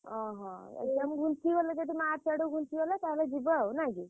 ଓହୋ exam ଘୁଞ୍ଚିଗଲେ ଯଦି March ଆଡକୁ ଘୁଞ୍ଚିଗଲା ତାହେଲେ ଯିବ ଆଉ ନା କି?